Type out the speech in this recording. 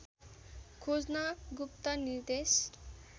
खोज्न गुप्त निर्देश